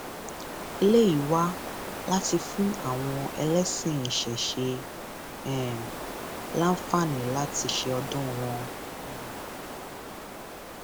eléyìí wá láti fún àwọn ẹlẹsìn ìṣẹṣẹ um láǹfààní láti ṣe ọdún wọn um